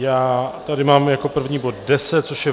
Já tady mám jako první bod 10, což je